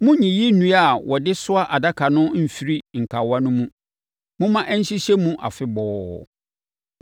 Monnyiyi nnua a wɔde soa adaka no mfiri nkawa no mu. Momma ɛnhyehyɛ mu afebɔɔ.